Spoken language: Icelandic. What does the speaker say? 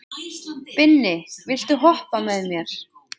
Binni, viltu hoppa með mér?